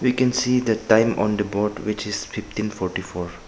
We can see the time on the board which is fifteen forty four.